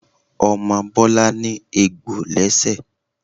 Omo Bọlá ní egbò lẹ́ṣẹ̀